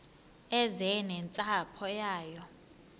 eze nentsapho yayo